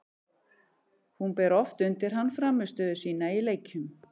Hún ber oft undir hann frammistöðu sína í leikjum.